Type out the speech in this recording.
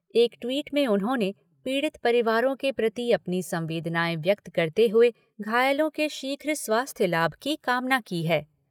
एक ट्वीट में उन्होंने पीड़ित परिवारो के प्रति अपनी संवेदनाएँ व्यक्त करते हुए घायलों के शीघ्र स्वास्थ्य लाभ की कामना की है।